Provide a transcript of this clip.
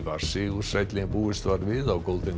var sigursælli en búist var við á